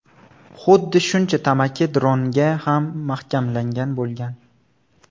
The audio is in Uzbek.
Xuddi shuncha tamaki dronga ham mahkamlangan bo‘lgan.